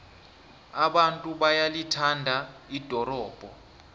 abantu bayalithanda ldorobho